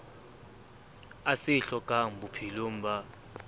a se hlokang bophelong ba